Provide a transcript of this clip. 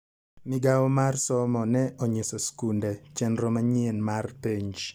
Migawo mar somo ne onyiso skunde chenro manyien mar penj.